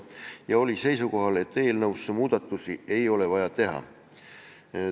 Ta oli seisukohal, et eelnõusse muudatusi ei ole vaja teha.